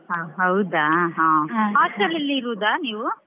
ಆ ಹೌದಾ . Hostel ಅಲ್ಲಿ ಇರುದ ನೀವು?